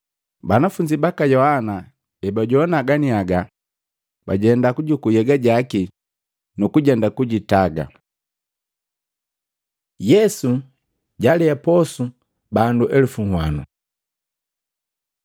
Banafunzi baka Yohana ebajoana ganiaga, bajenda kujukuu nhyega jaki je nukujenda kusika. Yesu jalea posu bandu elupu nwanu Matei 14:13-21; Luka 9:10-17; Yohana 6:1-14